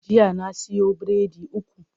Jiya na siyo biredi uku.